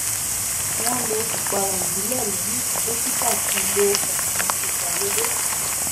wọn lo ìpara ìbílẹ lẹyìn tí dókítà ti lo ọnà ìgbàlódé